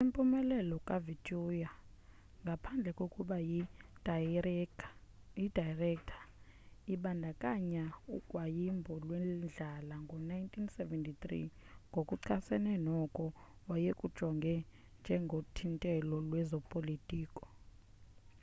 impumelelo kavautier ngaphandle kokuba yi dayirektha ibandakanya ugwayimbo lwendlala ngo-1973 ngokuchasene noko wayekujonga njengothintelo lwezopolitiko